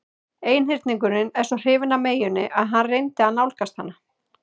Einhyrningurinn var svo hrifinn af meyjunni að hann reyndi að nálgast hana.